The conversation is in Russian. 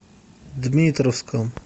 дмитровском